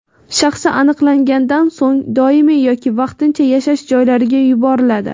shaxsi aniqlangandan so‘ng doimiy yoki vaqtincha yashash joylariga yuboriladi.